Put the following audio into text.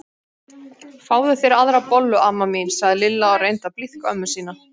Fáðu þér aðra bollu amma mín sagði Lilla og reyndi að blíðka ömmu sína.